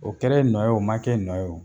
O kɛra e nɔ ye ,o ma kɛ e nɔ ye.